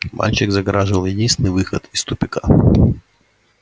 мальчик загораживал единственный выход из тупика